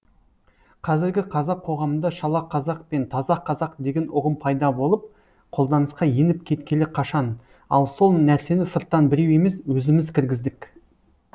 қазіргі қазақ қоғамында шала қазақ пен таза қазақ деген ұғым пайда болып қолданысқа еніп кеткелі қашан ал сол нәрсені сырттан біреу емес өзіміз кіргіздік